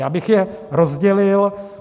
Já bych je rozdělil.